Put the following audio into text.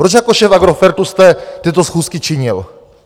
Proč jako šéf Agrofertu jste tyto schůzky činil?